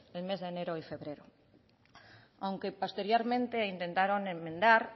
el mes de enero y febrero aunque posteriormente intentaron enmendar